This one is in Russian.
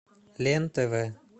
лен тв